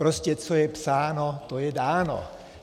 Prostě, co je psáno, to je dáno.